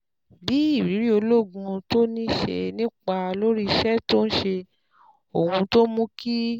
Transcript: Bí ìrírí ológun tó ní ṣe nípa lórí iṣẹ́ tó ń ṣe, ohun tó mú kí